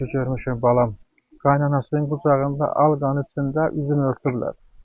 Görmüşəm balam qaynanasının qucağında al-qanı içində üzünü örtüblər.